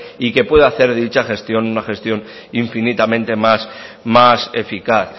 y que puede hacer de dicha gestión una gestión infinitamente más más eficaz